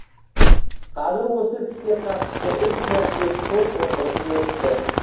қазір осы іске қатысты үш мәрте сот отырысы өтті